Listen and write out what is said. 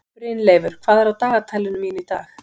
Brynleifur, hvað er á dagatalinu mínu í dag?